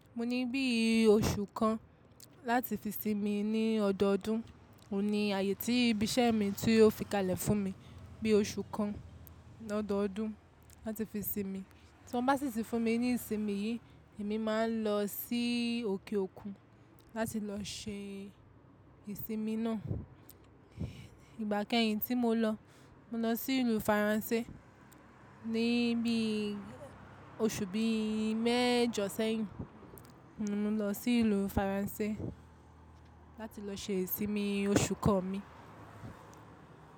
Mo ní bí i oṣù kan láti fi sinmi ní ọdọọdún. Ó ní ààyè tí ibi iṣẹ́ mi tí o fi kalẹ̀ fún mi bí i oṣù kan ní ọdọọdún láti fi sinmi. Tí wọ́n bá sì sin fún mi ní ìsinmi yìí, èmi máa ń lọ sí òkè òkun láti lọ se ìsinmi náà. Ìgbà kẹ́yìn tí mo lọ, mo lọ sí ìlú Faransé ní bí i oṣù bí i mẹ́jọ sẹ́yìn. Mo lọ sí ìlú Faransé láti lọ se ìsinmi oṣù kan mi.